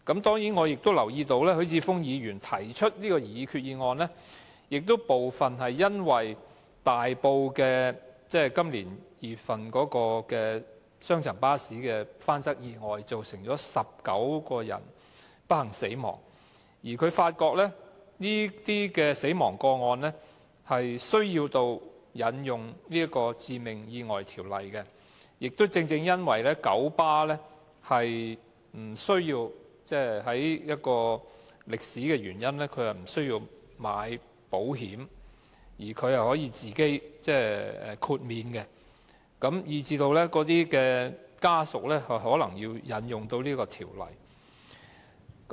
當然，我也留意到許智峯議員提出這項擬議決議案，部分是因為今年2月在大埔發生雙層巴士翻側意外，造成19人不幸身亡，他發現這些死亡個案需要引用《致命意外條例》，而且正正因為九巴的歷史原因，不用購買保險，並且得到豁免，以致死者家屬可能要引用該條例。